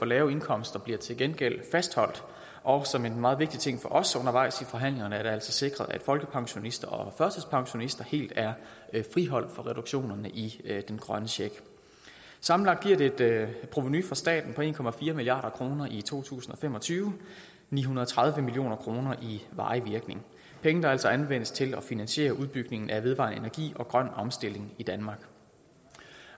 lave indkomster bliver til gengæld fastholdt og som en meget vigtig ting for os undervejs i forhandlingerne er det altså sikret at folkepensionister og førtidspensionister helt er friholdt fra reduktionerne i den grønne check sammenlagt giver det et provenu for staten på en milliard kroner i to tusind og fem og tyve og ni hundrede og tredive million kroner i varig virkning penge der altså anvendes til at finansiere udbygningen af vedvarende energi og den grønne omstilling i danmark